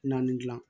Naani dilan